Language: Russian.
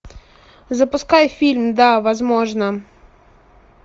запускай фильм да возможно